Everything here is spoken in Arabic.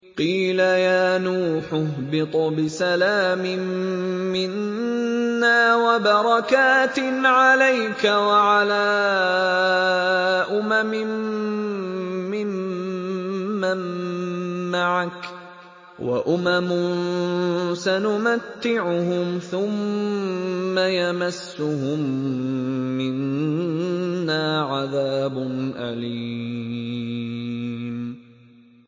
قِيلَ يَا نُوحُ اهْبِطْ بِسَلَامٍ مِّنَّا وَبَرَكَاتٍ عَلَيْكَ وَعَلَىٰ أُمَمٍ مِّمَّن مَّعَكَ ۚ وَأُمَمٌ سَنُمَتِّعُهُمْ ثُمَّ يَمَسُّهُم مِّنَّا عَذَابٌ أَلِيمٌ